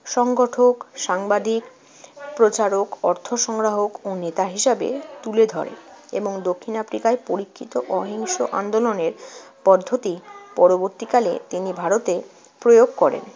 সংগঠক, সাংবাদিক, প্রচারক, অর্থসংগ্রহক ও নেতা হিসেবে তুলে ধরেন এবং দক্ষিণ আফ্রিকায় পরীক্ষিত অহিংস আন্দোলনের পদ্ধতি পরবর্তীকালে তিনি ভারতে প্রয়োগ করেন।